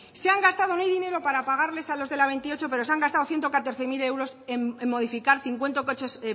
se han gastado no hay dinero para pagarles a los de la veintiocho pero se han gastado ciento catorce mil euros en modificar cincuenta coches